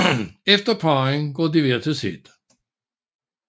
Efter parringen går de hver til sit